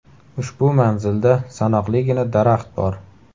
Ushbu manzilda sanoqligina daraxt bor.